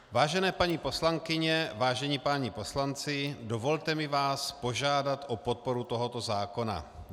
Vážené paní poslankyně, vážení páni poslanci, dovolte mi vás požádat o podporu tohoto zákona.